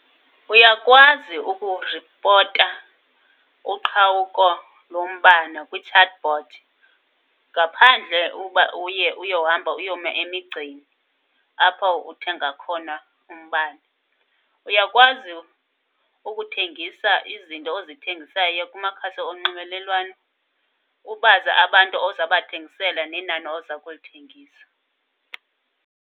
Uyakwazi ukuripota uqhawuko lombane kwi-chatbot ngaphandle uba uye uyohamba uyoma emigceni apho uthenga khona umbane. Uyakwazi ukuthengisa izinto ozithengisayo kumakhasi onxibelelwano, ubazi abantu ozabathengisela nenani oza kulithengisa.